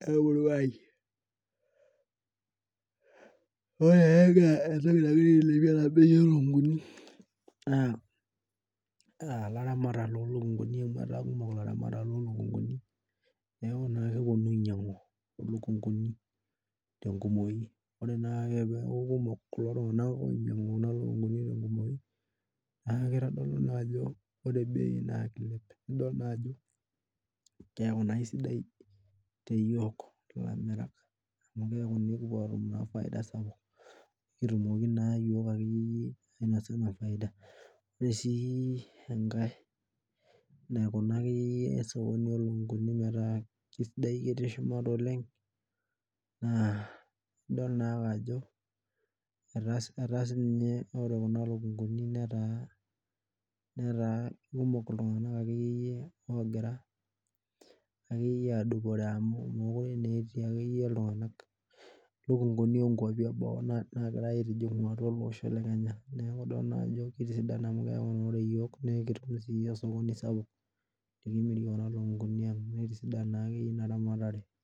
lemurua aang ore entoki nagira ailepie na ataa kumok laramatak lolukunguni neaku keponu ainyangu lukunguni tenkumoi ore peaku kekumok kuko tunganak nitodolu ajo keilep bei keaku na kesidai teyiol amu keaku ekipuo atum inafaida sapuk ore si enkae naikuna akeyie osokoni lolukunguni metaa sidai oleng na idol ajo ore kuna lukunguni netaa kekumok ltunganak akeyie adupore amu mekute akeyie etii lukunguni eboo nagirai aitijingu ele osho le kenya neaku idol na ajo ore yioo nikitum osokoni sapuk likimirie kuna lukunguni aang nikitum osokoni sapuk.